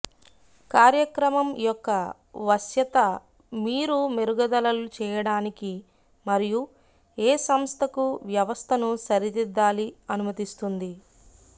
కార్యక్రమం యొక్క వశ్యత మీరు మెరుగుదలలు చేయడానికి మరియు ఏ సంస్థకు వ్యవస్థను సరిదిద్దాలి అనుమతిస్తుంది